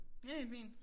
Det helt fint